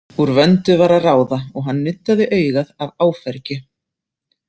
Úr vöndu var að ráða og hann nuddaði augað af áfergju.